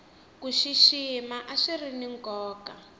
ku xixima a swiri ni nkoka